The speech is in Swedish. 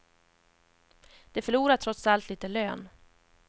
De förlorar trots allt lite lön.